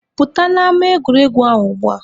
Pụta n'ama egwuregwu ahụ ugbua!